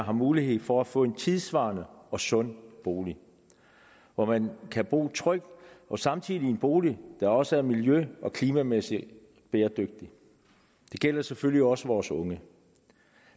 har mulighed for at få en tidssvarende og sund bolig hvor man kan bo trygt og samtidig en bolig der også er miljø og klimamæssigt bæredygtig det gælder selvfølgelig også vores unge